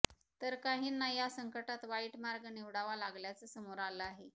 तर काहींना या संकटात वाईट मार्ग निवडावा लागल्याचं समोर आलं आहे